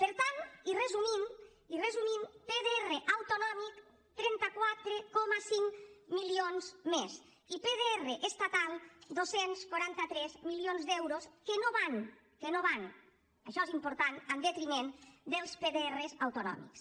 per tant i resumint i resumint pdr autonòmic trenta quatre coma cinc milions més i pdr estatal dos cents i quaranta tres milions d’euros que no van que no van això és important en detriment dels pdr autonòmics